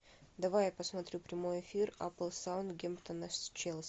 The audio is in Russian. давай я посмотрю прямой эфир апл саутгемптона с челси